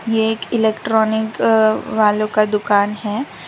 ये एक इलेक्ट्रॉनिक अअ वालों का दुकान है।